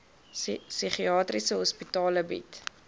psigiatriese hospitale bied